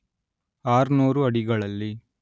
ಆರ್ನೂರು ಅಡಿಗಳಲ್ಲಿ